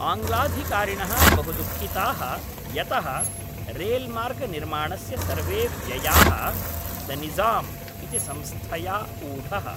आङ्ग्लाधिकारिणः बहु दुःखिताः यतः रेल्मार्गनिर्माणस्य सर्वे व्ययाः द निज़ाम् इति संस्थया ऊढः।